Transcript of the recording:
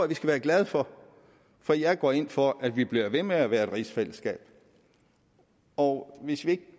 vi skal være glade for for jeg går ind for at vi bliver ved med at være et rigsfællesskab og hvis vi ikke